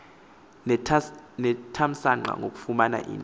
nethamsanqa ngokufumana into